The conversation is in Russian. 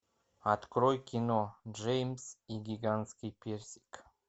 открой кино джеймс и гигантский персик